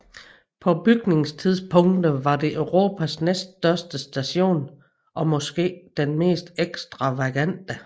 På bygningstidspunktet var det Europas næststørste station og måske den mest ekstravagante